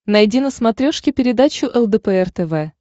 найди на смотрешке передачу лдпр тв